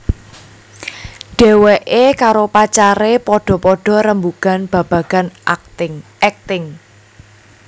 Dheweké karo pacaré padha padha rembugan babagan akting